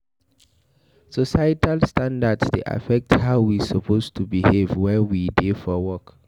Societal standards dey affect how we suppose to behave when we dey for work